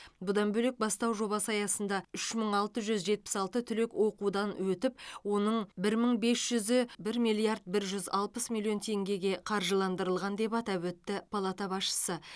бұдан бөлек бастау жобасы аясында үш мың алты жүз жетпіс алты түлек оқудан өтіп оның бір мың бес жүзі бір миллиард бір жүз алпыс миллион теңгеге қаржыландырылған деп атап өтті палата басшысы